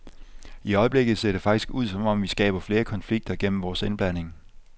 I øjeblikket ser det faktisk ud som om, vi skaber flere konflikter gennem vores indblanding.